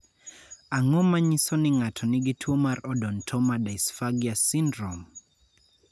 Ang�o ma nyiso ni ng�ato nigi tuo mar Odontoma dysphagia syndrome?